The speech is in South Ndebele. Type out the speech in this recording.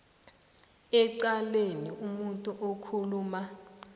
ecaleni umuntu okhuluma